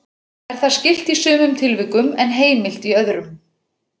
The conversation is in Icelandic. Er það skylt í sumum tilvikum en heimilt í öðrum.